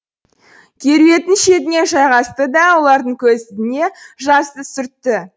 керуеттің шетіне жайғасты да ұлардың көзіне жасты сүртті